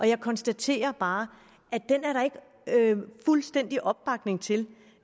jeg konstaterer bare at den er der ikke fuldstændig opbakning til